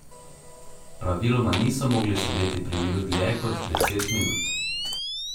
Praviloma niso mogli sedeti pri miru dlje kot deset minut.